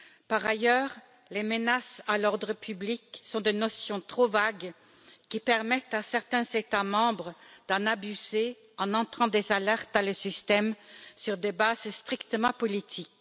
Par ailleurs, les menaces à l'ordre public sont des notions trop vagues qui permettent à certains États membres d'en abuser en entrant des alertes dans le système sur des bases strictement politiques.